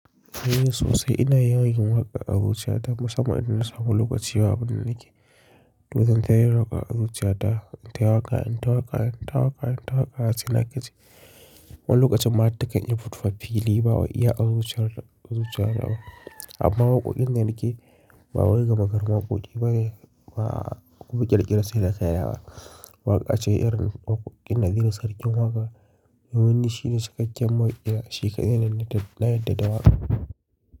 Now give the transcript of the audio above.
Ni sosai ina yawan yin waƙan abota dan musamman idan na samu lokaci babu abun da nake. Du zantayi waka azuciyata intawaka intawaka intawaka tawaka, sai na nagaji. Wani lokacin ma hartakai infito fili iya azuciya, amma waƙoƙin nan nake ba wai ga magagarinwaƙoƙi ba ne, ba ƙirkira sai na kai ya wa. Waƙa ce irin waƙoƙin naziru sarkin waƙa. Wannan shi ne cikakken maƙiya, shi kaɗai na yarda da waƙa.